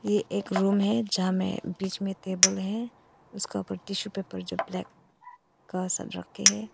ये एक रूम है जहां में बीच में टेबल है उसका ऊपर टिशू पेपर जो ब्लैक का सब रखे हैं।